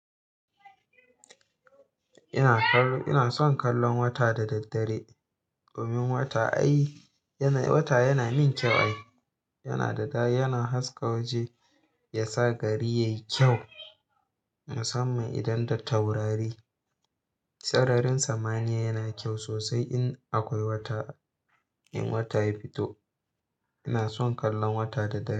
Ina son kallon wata da daddare. Domin wata ai, wata yana min kyau ai. Yana da dadi, yana haska waje, ya sa gari yayi kyau. Musamman idan da taurari. Sararin samaniya yana kyau sosai in akwai wata. In wata ya fito, ina son kallon wata da dare.